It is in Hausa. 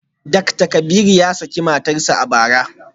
Dakta Kabiru ya saki matarsa ​​a bara